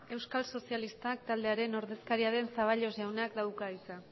euskal sozialistak taldearen ordezkariaren zaballos jaunak dauka hitza